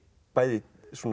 bæði